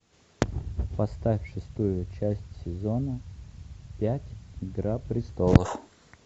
поставь шестую часть сезона пять игра престолов